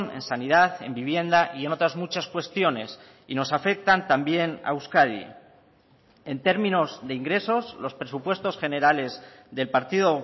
en sanidad en vivienda y en otras muchas cuestiones y nos afectan también a euskadi en términos de ingresos los presupuestos generales del partido